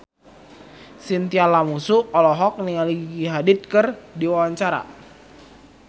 Chintya Lamusu olohok ningali Gigi Hadid keur diwawancara